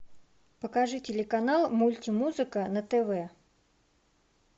покажи телеканал мульти музыка на тв